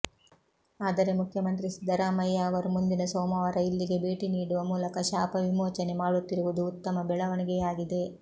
ಆದರೆ ಮುಖ್ಯಮಂತ್ರಿ ಸಿದ್ದರಾಮಯ್ಯ ಅವರು ಮುಂದಿನ ಸೋಮವಾರ ಇಲ್ಲಿಗೆ ಭೇಟಿ ನೀಡುವ ಮೂಲಕ ಶಾಪ ವಿಮೋಚನೆ ಮಾಡುತ್ತಿರುವುದು ಉತ್ತಮ ಬೆಳವಣಿಗೆಯಾಗಿದೆ